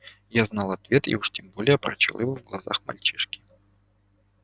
я знал ответ и уж тем более прочёл его в глазах мальчишки